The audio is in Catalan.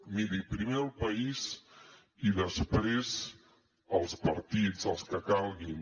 miri primer el país i després els partits els que calguin